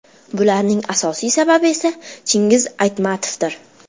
Bularning asosiy sababi esa Chingiz Aytmatovdir.